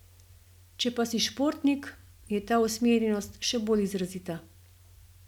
Če pa si športnik, je ta usmerjenost še bolj izrazita.